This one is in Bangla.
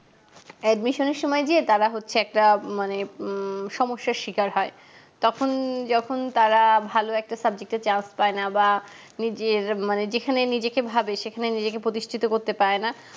admission এর সময় গিয়ে তারা হচ্ছে একটা মানে উম সমস্যার শিকার হয় তখন যখন তারা ভালো একটা subject এ chance পাইনা বা যে মানে যেখানে নিজেকে ভাবে সেখানে নিজেকে প্রতিষ্টিত করতে পারেনা